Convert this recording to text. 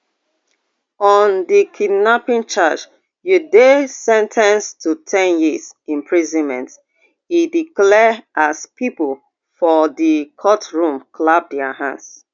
on di kidnapping charge you dey sen ten ced to ten years imprisonment e declare as pipo for di courtroom clap dia hands